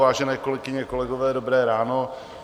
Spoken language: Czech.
Vážené kolegyně, kolegové, dobré ráno.